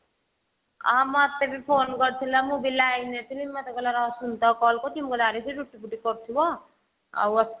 ଆ ମତେ ବି phone କରିଥିଲା ମୁଁ ବି line ରେ ଥିଲି ମୋତେ କହିଲା ରହ ସୁନିତା କୁ call କରୁଛି ମୁଁ କହିଲି ଆରେ ସେ ରୁଟି ଫୁଟି କରୁଥିବ ଆଉ